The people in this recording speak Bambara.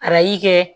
Arajo kɛ